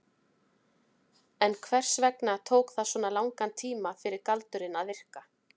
En hvers vegna tók það svona langan tíma fyrir galdurinn að virka?